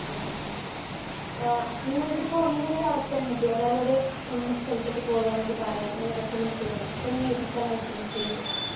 ആഹ് അഹ്. ആഹ് നിങ്ങൾക്കിപ്പോ നിങ്ങൾക്ക് ഒരു അവസരം കിട്ടി ഒരാളോട് ഇന്ന സ്ഥലത്തേക്കു പോകാൻ വേണ്ടി പറയാൻ ഇങ്ങനെ റെക്കമെൻഡ് ചെയ്യാൻ അപ്പൊ നിങ്ങൾ ഏത് സ്ഥലം റെക്കമെൻഡ് ചെയ്യും